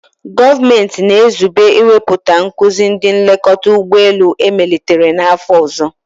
Gọọmenti na-ezube iwepụta nkuzi ndị nlekọta ụgbọ elu emelitere n'afọ ọzọ.